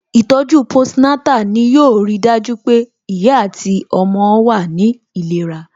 Ìtọ̀ju post Natal ni yo ri dájú pé ìyá àti ọmọ náà wà ní ìlera